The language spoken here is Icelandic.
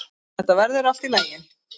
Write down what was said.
Þetta verður allt í lagi.